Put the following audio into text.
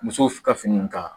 Muso ka fini ka